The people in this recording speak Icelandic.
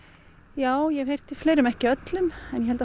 já ég hef heyrt í fleirum ekki öllum en ég held að